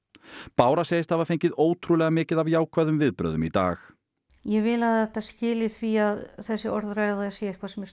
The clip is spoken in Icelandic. bára segist hafa fengið ótrúlega mikið af jákvæðum viðbrögðum í dag ég vil að þetta skili því að þessi orðræða sé eitthvað sem